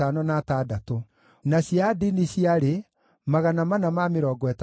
na andũ a Kiriathu-Jearimu, na Kefira, na Beerothu maarĩ 743,